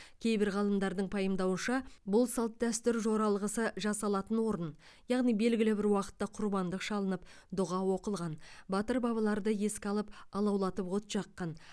кейбір ғалымдардың пайымдауынша бұл салт дәстүр жоралғысы жасалатын орын яғни белгілі бір уақытта құрбандық шалынып дұға оқылған батыр бабаларды еске алып алаулатып от жаққан